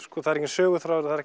það er enginn söguþráður það er